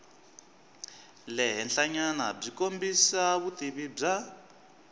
le henhlanyanabyi kombisa vutivi bya